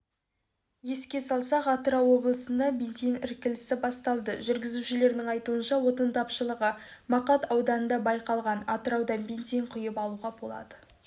еске салсақ атырау облысында бензин іркілісі басталды жүргізушілердің айтуынша отын тапшылығы мақат ауданында байқалған атырауда барлық ларда бензин құйып алуға болады